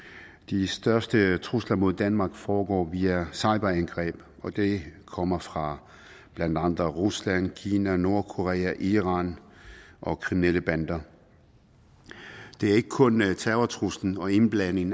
de største trusler mod danmark foregår via cyberangreb og de kommer fra blandt andre rusland kina nordkorea iran og kriminelle bander det er ikke kun terrortruslen og indblanding